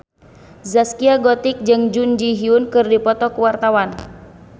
Zaskia Gotik jeung Jun Ji Hyun keur dipoto ku wartawan